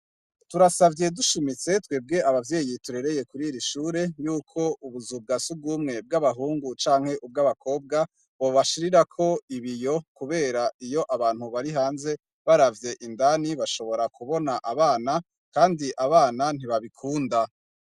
Turasavye dushimitse twebwe abavyeyi turereye kuriri shure yuko ubuzu bwa sugumwe bw'abahungu canke bw'abakobwa, bobashirirako ibiyo kubera iyo abantu bari hanze baravye indani bashobora kubona abana, kandi abana ntibabikunda.